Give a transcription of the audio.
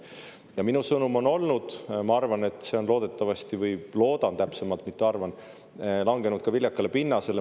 Ja minu sõnum on, ma arvan, või õigemini ma loodan, mitte ei arva, et see on langenud viljakale pinnasele.